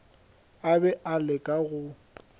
a be a leka go